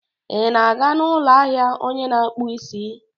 Ị na-aga n'ụlọ ahịa onye na-akpụ isi?